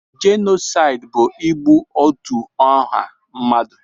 Jenosaịd bụ igbu otú ọha mmadụ.